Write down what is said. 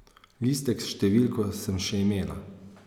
Listek s številko sem še imela.